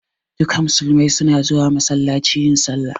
Duka musulmai su na zuwa masallaci yin sallah